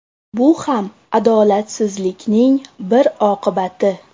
Bu ham adolatsizlikning bir oqibati.